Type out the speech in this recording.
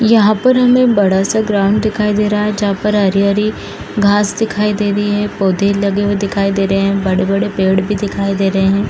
यहाँ पर हमें बड़ा सा ग्राउंड भी दिखाई दे रहा है जहाँ पर हरे-हरे घास दिखाई दे रहे हैं पौधे लगे हुए दिखाई दे रहे हैं बड़े-बड़े पेड़ भी दिखाई दे रहे हैं।